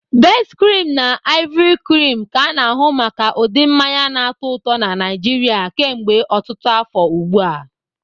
Best-cream na Ivory-cream ka a na-ahụ maka ude mmanya na-atọ ụtọ na Nigeria kemgbe ọtụtụ afọ ugbu a.